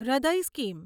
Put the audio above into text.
હૃદય સ્કીમ